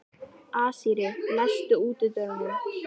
Asírí, læstu útidyrunum.